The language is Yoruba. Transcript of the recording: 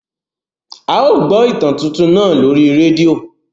À yóò gbọ ìtan tuntun náà lori redio.